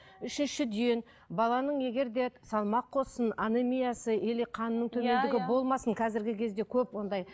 үшіншіден баланың егер де салмақ қоссын анемиясы или қанның төмендігі болмасын қазіргі кезде көп ондай